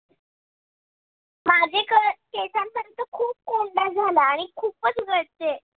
माझ्या केसांमध्ये तर खूप कोंडा झालाय आणि खूपच गळते.